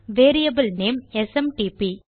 variable name SMTP